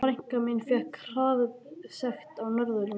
Frænka mín fékk hraðasekt á Norðurlandi.